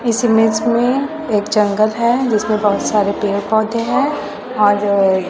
इस इमेज में एक जंगल है जिसमें बहुत सारे पेड़ पौधे हैं और--